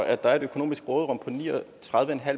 at der er et økonomisk råderum på ni og tredive